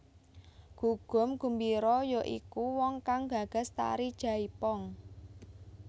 Gugum Gumbiro ya iku wong kang gagas tari jaipong